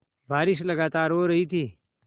बारिश लगातार हो रही थी